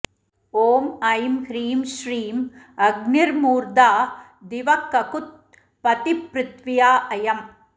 ॐ ऐं ह्रीं श्रीं अग्निर्मूर्धा दिवः ककुत् पतिःपृथिव्या अयम्